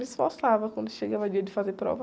Me esforçava quando chegava dia de fazer prova.